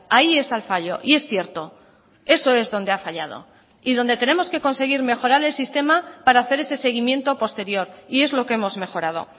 ahí está el fallo y es cierto eso es donde ha fallado y donde tenemos que conseguir mejorar el sistema para hacer ese seguimiento posterior y es lo que hemos mejorado